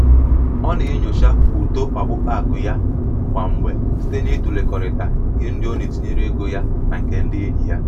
ọ na-enyocha uto ọkpụkpa akụ ya ya kwa mgbe site n'ịtụlekọrịta ihe ndị o tinyere ego na ya na nke ndị enyi ya.